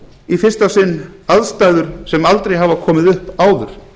í fyrsta sinn aðstæður sem aldrei hafa komið upp áður